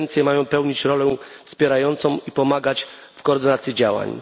dwie agencje mają pełnić rolę wspierającą i pomagać w koordynacji działań.